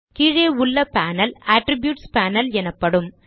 கீழே உள்ள panel attributes panel எனப்படும்